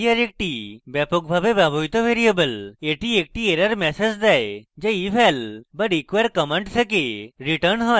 এটি আরেকটি ব্যাপকভাবে ব্যবহৃত ভ্যারিয়েবল এটি একটি error ম্যাসেজ দেয় যা eval বা require command থেকে returns হয়